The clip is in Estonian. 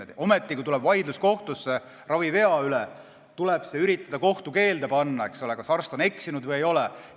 Ometi, kui kohtusse tuleb vaidlus ravivea üle, tuleb üritada see kohtukeelde panna, et teha selgeks, kas arst on eksinud või ei ole.